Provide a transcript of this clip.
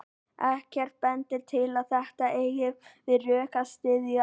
Ekkert bendir til að þetta eigi við rök að styðjast.